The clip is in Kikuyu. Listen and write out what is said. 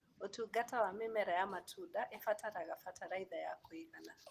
ũtungata wa mĩmera ya matunda ĩbataraga bataraitha ya kũigana.